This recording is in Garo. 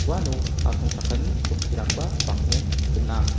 uano asongchakani chokkirangba bang·en gnang.